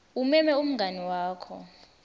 umeme umngani wakho